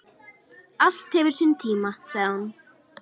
Allt hefur sinn tíma, sagði hún.